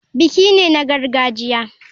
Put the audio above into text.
Biki ne na gargajiya.